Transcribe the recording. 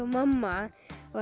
mamma